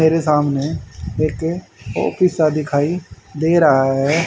मेरे सामने एक ऑफिस सा दिखाई दे रहा है।